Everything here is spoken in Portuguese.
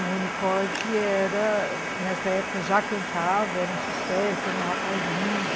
O Rony Corde, nessa época, já cantava, era um sucesso, era um rapaz lindo.